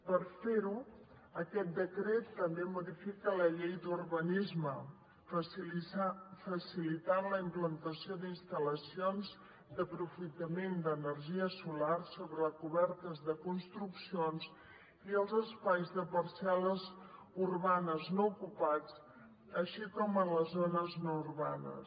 per fer ho aquest decret també modifica la llei d’urbanisme facilitant la implantació d’instal·lacions d’aprofitament d’energia solar sobre cobertes de construccions i als espais de parcel·les urbanes no ocupats així com en les zones no urbanes